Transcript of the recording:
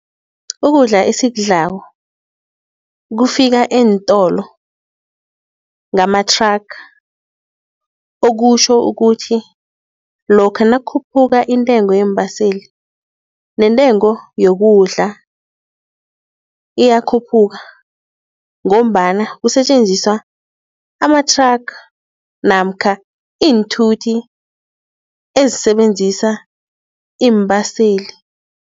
Ukudla esiwudlako kufika eentolo ngamathraga. Okutjho ukuthi lokha nakukhuphuka intengo yeembaseli nentengo yokudla iyakhuphuka. Ngombana kusetjenziswa amathraga namkha iinthuthi ezisebenzisa iimbaseli.